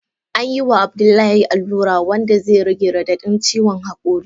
Anyi wa Abdullahi alura wanda zai rage radadin ciwon hakuri.